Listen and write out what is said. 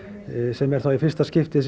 sem er þá í fyrsta skipti